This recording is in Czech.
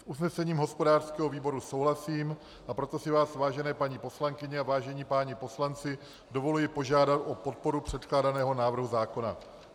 S usnesením hospodářského výboru souhlasím, a proto si vás, vážené paní poslankyně a vážení páni poslanci, dovoluji požádat o podporu předkládaného návrhu zákona.